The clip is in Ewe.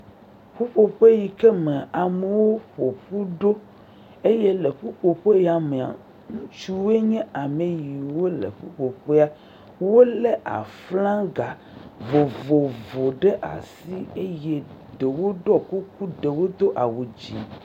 Ƒuƒoƒe yi ke me amewo ƒo ƒu ɖo eye le ƒuƒoƒe ya mea, ŋutsuwoe nye ameyiwo le ƒuƒoƒea, wolé aflaga vovovowo ɖe asi eye ɖewo ɖɔ kuku ɖewo do awu dze.